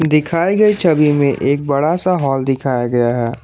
दिखाई गई छवि में एक बड़ा सा हॉल दिखाया गया है।